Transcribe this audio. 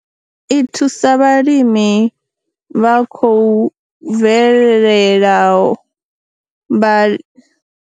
I thusa vhalimi vha khou bvelelaho, vhali.